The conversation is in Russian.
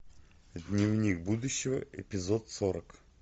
дневник будущего эпизод сорок